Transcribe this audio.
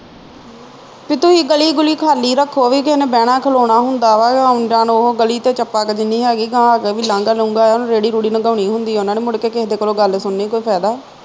ਤੇ ਤੁਹੀ ਗਲੀ ਗੁੱਲੀ ਖਾਲੀ ਰੱਖੋ ਬਈ ਕਿਹੇ ਨੇ ਬਹਿਣਾ ਖਲੋਣਾ ਹੁੰਦਾ ਵਾ ਆਉਣ ਜਾਣ ਉਹ ਗਲੀ ਤੇ ਚੱਪਾ ਕਿ ਜਿੰਨੀ ਹੈਗੀ ਗਾਹ ਅੱਗੇ ਵੀ ਲਾਂਘਾ ਰੇਹੜੀ ਰੁਹੜੀ ਲੰਘਾਣੀ ਹੁੰਦੀ ਉਨ੍ਹਾਂ ਨੇ ਮੁੜਕੇ ਕਿਹਦੇ ਕੋਲੋ ਗੱਲ ਸੁਨਣੀ ਕੋਈ ਫਾਇਦਾ